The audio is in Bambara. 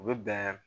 U bɛ bɛn